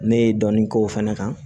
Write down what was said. Ne ye dɔnni k'o fana kan